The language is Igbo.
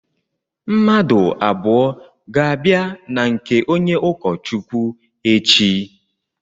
Mmadụ abụọ ga-abịa na nke onye ụkọ Chukwu echi.